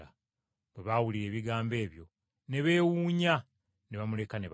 Bwe baawulira ebigambo ebyo ne beewuunya ne bamuleka ne bagenda.